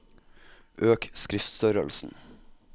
Øk skriftstørrelsen